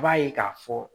I b'a ye k'a fɔ